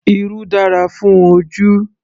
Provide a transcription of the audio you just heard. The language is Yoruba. Irú dára fún ojú